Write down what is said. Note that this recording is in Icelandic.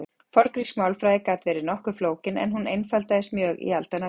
forngrísk málfræði gat verið nokkuð flókin en hún einfaldaðist mjög í aldanna rás